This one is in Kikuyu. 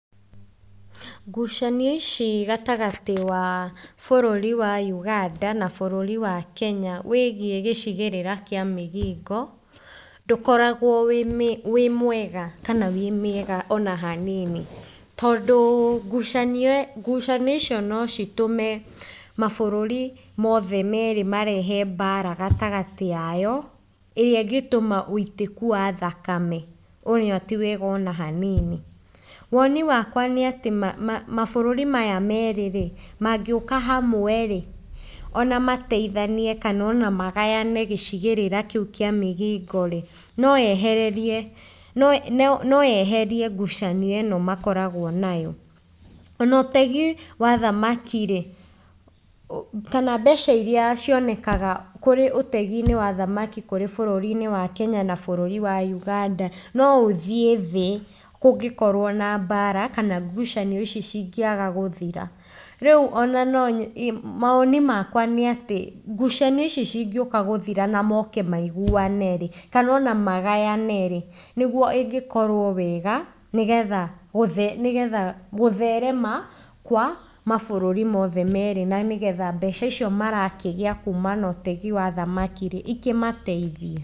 Ngucanio ici gatagatĩ wa bũrũri wa Uganda na bũrũri wa Kenya, wĩgiĩ gĩcigĩrĩra kĩa migingo, ndũkoragwo wĩ mĩe mwega kana wĩ mĩega ona hanini, tondũ ngucanio ĩ ngucanio icio no citũme mabũrũri mothe merĩ marehe mbara gatagatĩ yayo ĩrĩa ĩngĩtũma wĩitĩku wa thakame, ũrĩa tiwega ona hanini, woni wakwa nĩ atĩ ma ma mabũrũri maya merĩrĩ, mangĩũka hamwerĩ, ona mateithanie kana ona magayane gĩcigĩrĩra kĩu kĩa migingorĩ, no ehererie no yeherie ngucanio ĩno makoragwo nayo, ona ũtegi wa thamakarĩ, kana mbeca iria cionekaga kũrĩ ũteginĩ wa thamaki kũrĩ bũrũri-inĩ wa kenya na bũrũri wa ũganda, no ũthiĩ thĩ kũngĩkorwo na mbara kana ngucanio ici cingiaga gũthira, rĩu ona nonye, mawoni makwa nĩ atĩ ngucanio ici cingĩũka gũthira na moko maiguwanerĩ, kana ona magayanerĩ, nĩguo ĩngĩkorwo wega, nĩ getha nĩ getha gũtherema kwa mabũrũri mothe merĩ na nĩgetha mbeca icio marakĩgia kuma na ũtegi wa thamakirĩ ikĩmatethie.